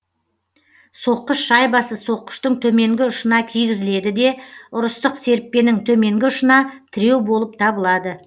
соққыш шайбасы соққыштың төменгі ұшына кигізіледі де ұрыстық серіппенің төменгі ұшына тіреу болып табылады